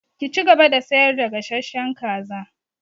Ki cigaba da sayar da gasasshen kaza!